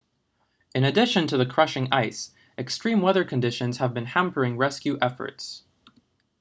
in addition to the crushing ice extreme weather conditions have been hampering rescue efforts